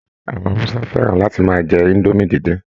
Àwọn Hausa fẹ́ràn láti máa jẹ indomie díndín